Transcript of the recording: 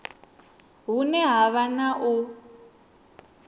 hune ha vha na u